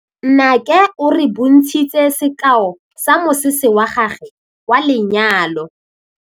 Nnake o re bontshitse sekaô sa mosese wa gagwe wa lenyalo.